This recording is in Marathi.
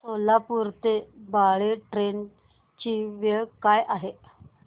सोलापूर ते बाळे ट्रेन ची वेळ काय आहे